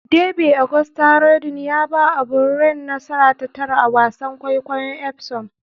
Derby: Auguste Rodin ya ba O'Brien nasara ta tara a wasan kwaikwayon Epsom